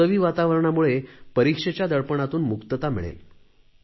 उत्सवी वातावरणामुळे परिक्षेच्या दडपणातून मुक्तता मिळेल